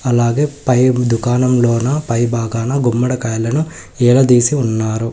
అలాగే పై దుకాణంలోనా పై భాగాన గుమ్మడికాయలను ఏడదీసి ఉన్నారు.